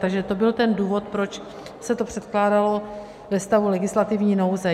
Takže to byl ten důvod, proč se to předkládalo ve stavu legislativní nouze.